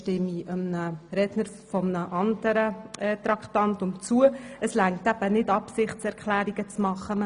Doch es reicht eben nicht, Absichtserklärungen zu machen, und damit stimme ich einem Votum zu einem anderen Traktandum zu.